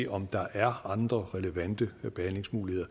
om der er andre relevante behandlingsmuligheder